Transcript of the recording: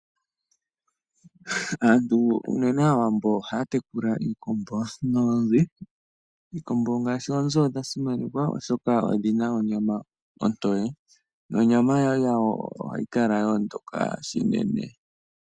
Aawambo ohaatekula iikombo noonzi. Oonzi odhasimanekwa oshoka odhina onyama ontoye nonyama yonzi ohayikala yoondoka shinene.